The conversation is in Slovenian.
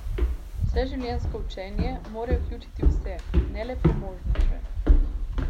Vseživljenjsko učenje more vključiti vse, ne le premožnejše.